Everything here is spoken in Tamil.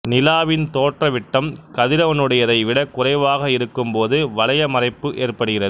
நிலாவின் தோற்ற விட்டம் கதிரவனுடையதை விடக் குறைவாக இருக்கும் போது வலய மறைப்பு ஏற்படுகிறது